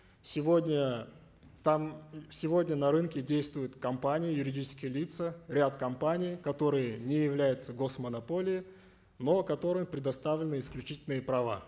сегодня там сегодня на рынке действуют компании юридические лица ряд компаний которые не являются гос монополией но которым предоставлены исключительные права